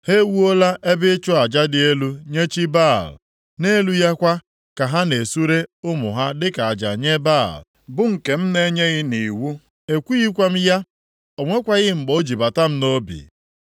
Ha ewuola ebe ịchụ aja dị elu nye chi Baal. Nʼelu ya kwa ka ha na-esure ụmụ ha dịka aja nye Baal, bụ nke m na-enyeghị nʼiwu, ekwughịkwa m ya, o nwekwaghị mgbe o ji bata m nʼobi.